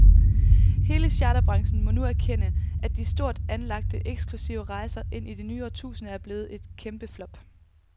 Hele charterbranchen må nu erkende, at de stort anlagte, eksklusive rejser ind i det nye årtusinde er blevet et kæmpeflop.